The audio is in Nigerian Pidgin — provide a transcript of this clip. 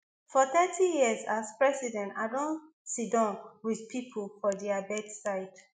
for thirty years as priest i don siddon wit pipo for dia bedside